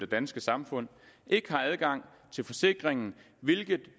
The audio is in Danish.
danske samfund ikke har adgang til forsikringen hvilket